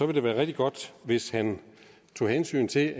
det være rigtig godt hvis han tog hensyn til